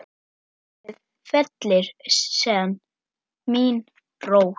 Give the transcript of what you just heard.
Blöðin fellir senn mín rós.